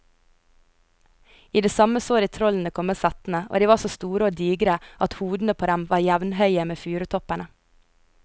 I det samme så de trollene komme settende, og de var så store og digre at hodene på dem var jevnhøye med furutoppene.